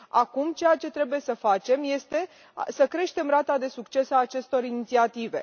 Acum, ceea ce trebuie să facem este să creștem rata de succes a acestor inițiative.